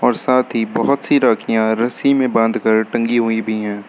और साथ ही बहुत सी राखियां रस्सी में बांधकर टंगी हुई भी हैं।